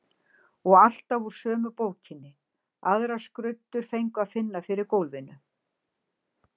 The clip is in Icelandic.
Og alltaf úr sömu bókinni, aðrar skruddur fengu að finna fyrir gólfinu.